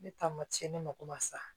Ne taa ma ci ne mako ma sa